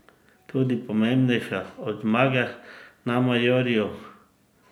Tudi pomembnejša od zmage na majorju?